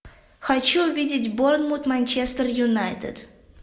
хочу увидеть борнмут манчестер юнайтед